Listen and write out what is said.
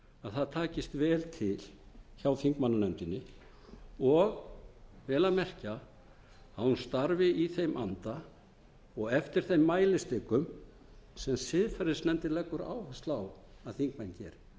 að það takist vel til hjá þingmannanefndinni og vel að merkja hún starfi í þeim anda og eftir þeim mælistikum sem siðferðisnefndin leggur áherslu á að þingmenn geri í